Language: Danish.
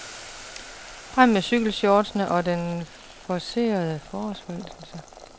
Frem med cykelshortsene og den forcerede forårsforelskelse.